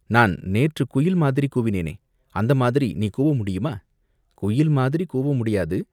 நான் நேற்றுக் குயில் மாதிரி கூவினேனே, அந்த மாதிரி நீ கூவ முடியுமா, குயில் மாதிரி கூவ முடியாது